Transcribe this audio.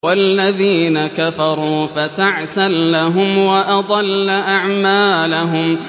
وَالَّذِينَ كَفَرُوا فَتَعْسًا لَّهُمْ وَأَضَلَّ أَعْمَالَهُمْ